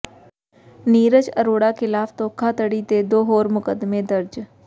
ਨੀਰਜ ਅਰੋੜਾ ਿਖ਼ਲਾਫ਼ ਧੋਖਾਧੜੀ ਦੇ ਦੋ ਹੋਰ ਮੁਕੱਦਮੇ ਦਰਜ